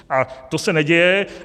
A to se neděje.